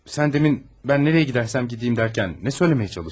Sen demin ben nereye gidersem gideyim derken ne söylemeye çalıştın?